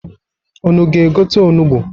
Unu ga-egote onugbu?